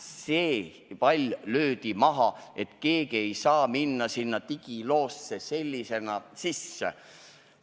See pall löödi minema, keegi ei saa sinna digiloosse sellisel kujul sisse minna.